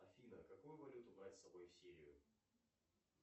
афина какую валюту брать с собой в сирию